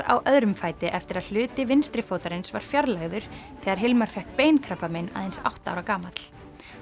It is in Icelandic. á öðrum fæti eftir að hluti vinstri fótarins var fjarlægður þegar Hilmar fékk aðeins átta ára gamall